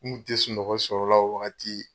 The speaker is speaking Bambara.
N' kun te sunɔgɔ sɔrɔla la o wagati